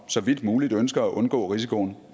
så vidt muligt ønsker at undgå risikoen